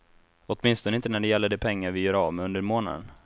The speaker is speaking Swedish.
Åtminstone inte när det gäller de pengar vi gör av med under månaden.